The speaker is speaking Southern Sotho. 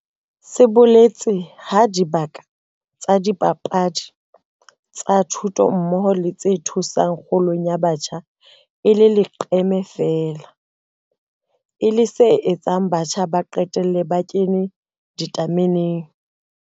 Se boletse ha dibaka tsa dipapadi, tsa thuto mmoho le tse thusang kgolong ya batjha e le leqeme feela, e leng se etsang batjha ba qetelle ba 'kena ditameneng'.